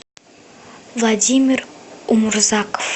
владимир умурзаков